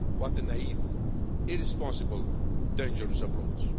What a naive, irresponsible, dangerous approach!